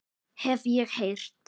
Hef ég heyrt.